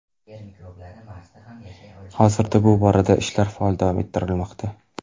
Hozirda bu boradagi ishlar faol davom ettirilmoqda.